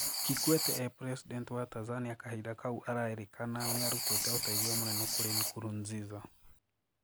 Kikwete e presidenti wa Tanzania kahinda kau arairikana niarutite ũteithio munene kuri Nkurunziza.